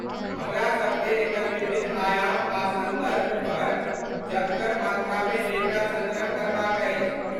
हमरा सबकेँ एकर विभिन्न आयाम आ सन्दर्भपर जथगर मात्रामे डेटा सङ्ग्रह करबाक अछि।